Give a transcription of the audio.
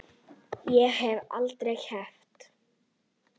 Ég hef aldrei keppt.